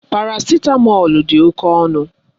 Parasitamọlu dị oké ọnụ.